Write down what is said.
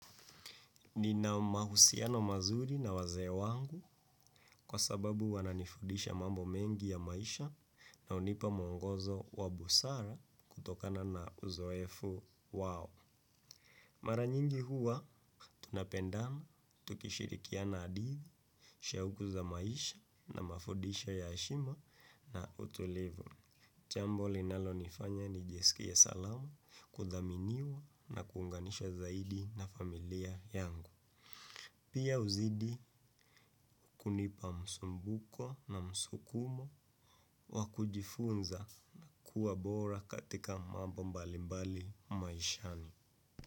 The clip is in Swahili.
Ni na mahusiano mazuri na wazee wangu kwa sababu wananifudisha mambo mengi ya maisha na hunipa mwongozo wa busara kutokana na uzoefu wao. Maranyingi huwa tunapendana, tukishirikiana hadithi, shahuku za maisha na mafundisho ya heshima na utulivu. Jambo linalo nifanya ni jisikie salama kudhaminiwa na kuunganishwa zaidi na familia yangu. Pia huzidi kunipa msumbuko na msukumo wakujifunza na kuwa bora katika mambo mbali mbali maishani.